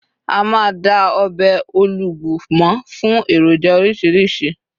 a ma da ọbè olugbu mọ fún eroja orísirísi